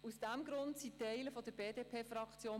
Aus diesem Grund sind Teile der BDP-Fraktion